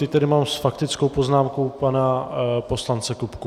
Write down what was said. Teď tady mám s faktickou poznámkou pana poslance Kupku.